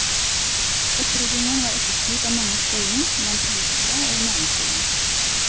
Oppryddingen var etterspurt av mange i skolen, blant politikere og i næringslivet.